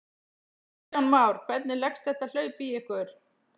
Kristján Már: Hvernig leggst þetta hlaup í ykkur?